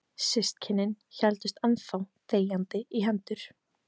Systkinin héldust enn þá þegjandi í hendur.